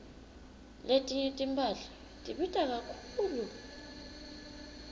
letinye timphahla tibita kakhulu